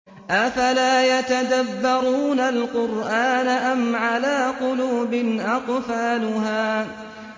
أَفَلَا يَتَدَبَّرُونَ الْقُرْآنَ أَمْ عَلَىٰ قُلُوبٍ أَقْفَالُهَا